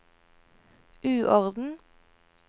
uorden